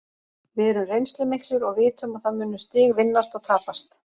Við erum reynslumiklir og vitum að það munu stig vinnast og tapast.